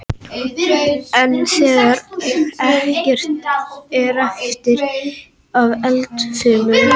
En þegar ekkert er eftir af eldfimum efnum stöðvast bruninn og eldurinn slokknar.